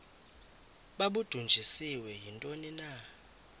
babudunjiswe yintoni na